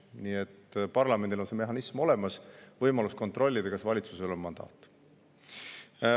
Ja parlamendil on olemas mehhanism, võimalus kontrollida, kas valitsusel on mandaat.